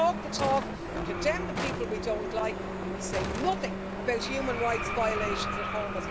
We talk to talk, we condemn the people we don't like, and we say nothing about human rights violations at home.